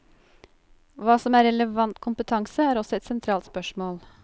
Hva som er relevant kompetanse, er også et sentralt spørsmål.